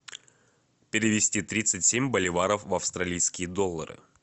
перевести тридцать семь боливаров в австралийские доллары